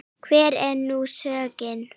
Hver er nú sögnin?